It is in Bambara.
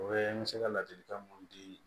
O ye n bɛ se ka ladilikan mun di